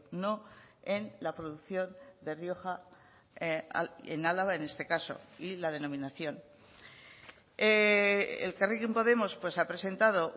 no en la producción de rioja en álava en este caso y la denominación elkarrekin podemos pues ha presentado